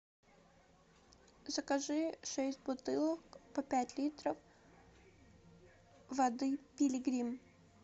закажи шесть бутылок по пять литров воды пилигрим